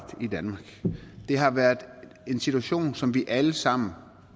i danmark det har været en situation som vi alle sammen